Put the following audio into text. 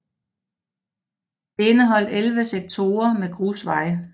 Det indeholdt 11 sektorer med grusvej